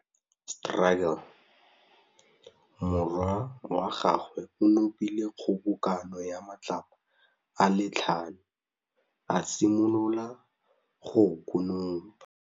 Morwa wa gagwe o nopile kgobokanô ya matlapa a le tlhano, a simolola go konopa.